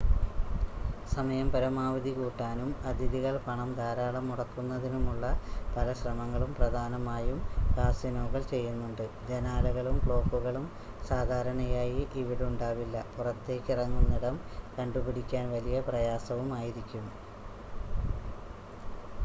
സമയം പരമാവധി കൂട്ടാനും അതിഥികൾ പണം ധാരാളം മുടക്കുന്നതിനുമുള്ള പല ശ്രമങ്ങളും പ്രധാനമായും കാസിനോകൾ ചെയ്യുന്നുണ്ട് ജനാലകളും ക്ലോക്കുകളും സാധാരണയായി ഇവിടുണ്ടാവില്ല പുറത്തേക്കിറങ്ങുന്നിടം കണ്ടുപിടിക്കാൻ വലിയ പ്രയാസവുമായിരിക്കും